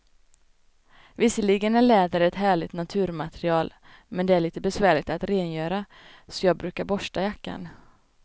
Visserligen är läder ett härligt naturmaterial, men det är lite besvärligt att rengöra, så jag brukar borsta jackan.